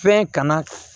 Fɛn kana